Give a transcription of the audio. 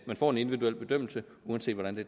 man får en individuel bedømmelse uanset hvordan